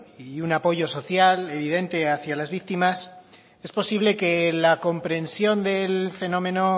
y un apoyo social evidente hacia las víctimas es posible que la comprensión del fenómeno